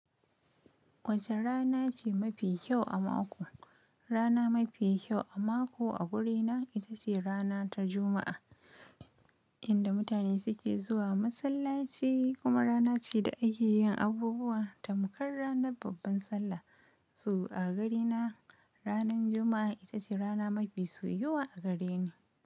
Wace rana ce mafi kyau a mako? Rana mafi kyau a mako a wurina ita ce rana ta Juma'a, inda mutane suke zuwa masallaci kuma rana ce da ake yin abubuwa tamkar ranar babban Sallah. So a ganina, ranar Juma'a ita ce rana mafi soyuwa a gareni.